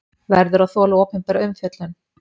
Verður að þola opinbera umfjöllun